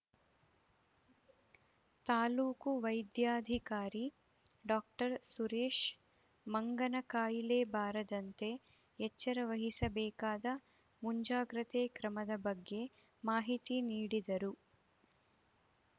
ತಾಲೂಕು ವೈದ್ಯಾಧಿಕಾರಿ ಡಾಕ್ಟರ್ ಸುರೇಶ್‌ ಮಂಗನ ಕಾಯಿಲೆ ಬಾರದಂತೆ ಎಚ್ಚರವಹಿಸಬೇಕಾದ ಮುಂಜಾಗ್ರತೆ ಕ್ರಮದ ಬಗ್ಗೆ ಮಾಹಿತಿ ನೀಡಿದರು